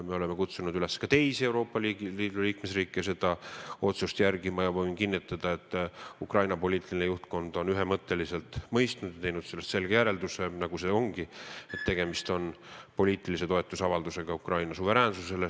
Me oleme kutsunud üles ka teisi Euroopa Liidu liikmesriike seda otsust järgima ja ma võin kinnitada, et Ukraina poliitiline juhtkond on seda ühemõtteliselt mõistnud ja teinud sellest selge järelduse, et tegemist on poliitilise toetuse avaldamisega Ukraina suveräänsusele.